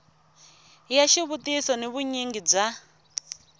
ya xivutiso ni vunyingi bya